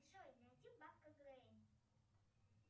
джой найди бабка гренни